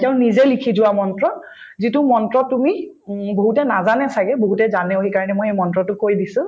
তেওঁ নিজেই লিখি যোৱা মন্ত্ৰ যিটো মন্ত্ৰ তুমি উম বহুতে নাজানে ছাগে বহুতে জানেও সেইকাৰণে মই এই মন্ত্ৰতো কৈ দিছো